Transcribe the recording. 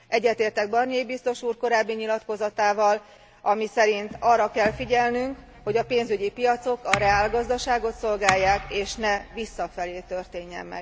Egyetértek Barnier biztos úr korábbi nyilatkozatával, amely szerint arra kell figyelnünk, hogy a pénzügyi piacok a reálgazdaságot szolgálják, és ne visszafelé történjen.